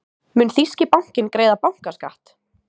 Mun þýski bankinn greiða bankaskatt?